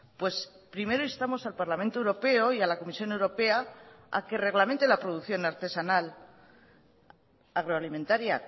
pues primero instamos al parlamento europeo y a la comisión europea a que reglamente la producción artesanal agroalimentaria